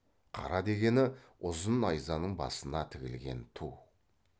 қара дегені ұзын найзаның басына тігілген ту